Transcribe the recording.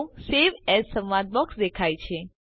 તો save as સંવાદ box દેખાય છે